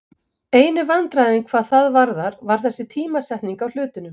Einu vandræðin hvað það varðar var þessi tímasetning á hlutunum.